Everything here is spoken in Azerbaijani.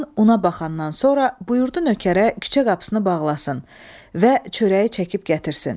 Xan ona baxandan sonra buyurdu nökərə küçə qapısını bağlasın və çörəyi çəkib gətirsin.